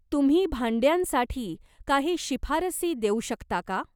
तुम्ही भांड्यांसाठी काही शिफारसी देऊ शकता का?